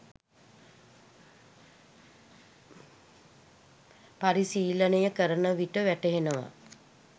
පරිශීලනය කරනවිට වැටහෙනවා